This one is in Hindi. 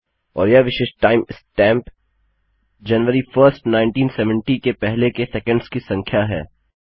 और यह विशिष्ट time स्टैंप जनवरी 1एसटी 1970 के पहले के सेकंड्स की संख्या है